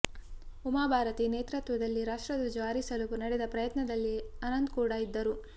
ಉಮಾಭಾರತಿ ನೇತೃತ್ವದಲ್ಲಿ ರಾಷ್ಟ್ರಧ್ವಜ ಹಾರಿಸಲು ನಡೆದ ಪ್ರಯತ್ನದಲ್ಲಿ ಅನಂತ್ ಕೂಡ ಇದ್ದರು